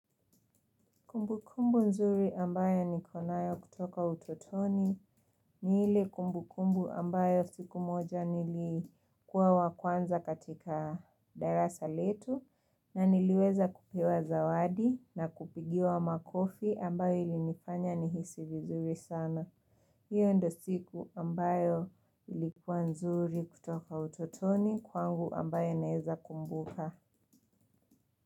Kumbukumbu nzuri ambayo niko nayo kutoka utotoni ni ile kumbukumbu ambayo siku moja nilikuwa wa kwanza katika darasa letu na niliweza kupewa zawadi na kupigiwa makofi ambayo ilinifanya nihisi vizuri sana. Hiyo ndo siku ambayo ilikuwa nzuri kutoka utotoni kwangu ambayo naeza kumbuka.